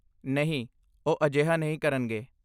ਨਹੀਂ, ਉਹ ਅਜਿਹਾ ਨਹੀਂ ਕਰਨਗੇ।